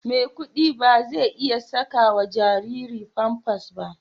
Maikudi ba zai iya saka wa jariri Pampers ba.